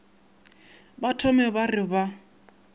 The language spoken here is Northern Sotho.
ba thome ba re ba